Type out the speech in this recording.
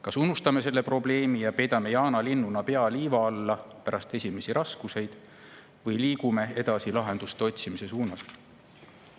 Kas unustame selle probleemi ja peidame jaanalinnuna pea liiva alla pärast esimesi raskusi või liigume edasi lahenduste otsimise suunas?